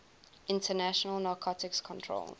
international narcotics control